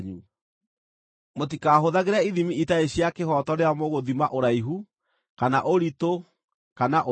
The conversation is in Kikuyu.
“ ‘Mũtikahũthagĩre ithimi itarĩ cia kĩhooto rĩrĩa mũgũthima ũraihu, kana ũritũ, kana ũingĩ.